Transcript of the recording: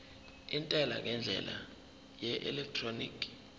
intela ngendlela yeelektroniki